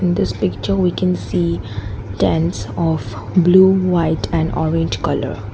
this picture we can see tents of blue white and orange colour.